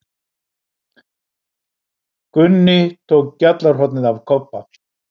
Gunni tók gjallarhornið af Kobba.